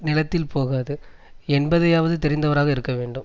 நிலத்தில் போகாது என்பதையாவது தெரிந்தவராக இருக்க வேண்டும்